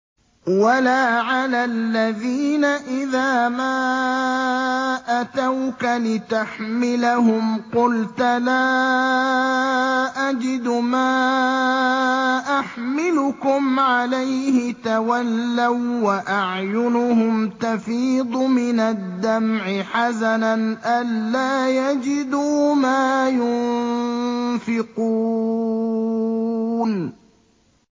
وَلَا عَلَى الَّذِينَ إِذَا مَا أَتَوْكَ لِتَحْمِلَهُمْ قُلْتَ لَا أَجِدُ مَا أَحْمِلُكُمْ عَلَيْهِ تَوَلَّوا وَّأَعْيُنُهُمْ تَفِيضُ مِنَ الدَّمْعِ حَزَنًا أَلَّا يَجِدُوا مَا يُنفِقُونَ